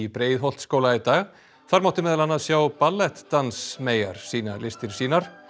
Breiðholtsskóla í dag þar mátti meðal annars sjá ballettdansmeyjar sýna listir sínar